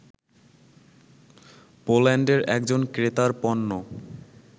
পোল্যান্ডের একজন ক্রেতার পণ্য